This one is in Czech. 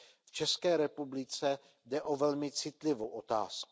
V České republice jde o velmi citlivou otázku.